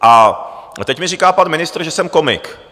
A teď mi říká pan ministr, že jsem komik.